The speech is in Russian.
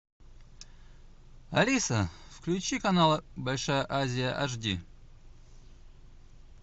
алиса включи канал большая азия аш ди